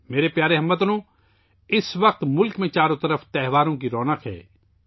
میرے پیارے ہم وطنو، اس وقت پورے ملک میں چاروں طرف تہواروں کی رونق ہے